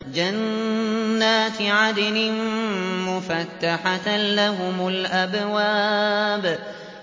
جَنَّاتِ عَدْنٍ مُّفَتَّحَةً لَّهُمُ الْأَبْوَابُ